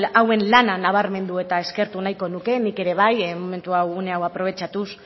hauen lana nabarmendu nahiko nuke nik ere bat momentu hau une hau aprobetxatuz